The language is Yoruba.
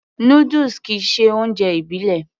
Noodles kìí ṣe oúnjẹ ìbílẹ̀